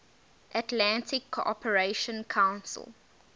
atlantic cooperation council